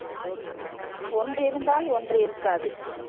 ஒன்று இருந்தால் ஒன்று இருக்காது